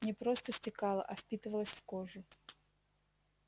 не просто стекала а впитывалась в кожу